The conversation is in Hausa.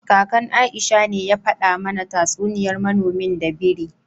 Kakan Aisha ne ya fada mana tatsuniyar manomin da biri